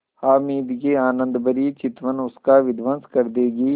हामिद की आनंदभरी चितवन उसका विध्वंस कर देगी